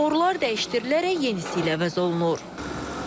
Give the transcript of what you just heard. Borular dəyişdirilərək yeni hissə ilə əvəz olunur.